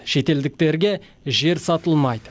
шетелдіктерге жер сатылмайды